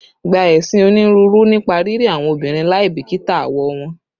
Gba esin oniruuru nipa riri awọn obinrin laibikita awọ wọn